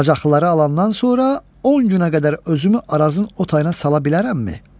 Bacıqlıları alandan sonra 10 günə qədər özümü arazın o tayına sala bilərəmmi?